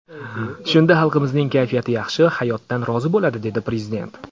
Shunda xalqimizning kayfiyati yaxshi, hayotdan rozi bo‘ladi”, dedi Prezident.